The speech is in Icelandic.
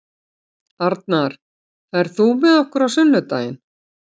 Arnar, ferð þú með okkur á sunnudaginn?